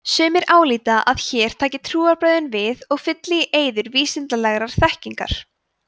sumir álíta að hér taki trúarbrögðin við og fylli í eyður vísindalegrar þekkingar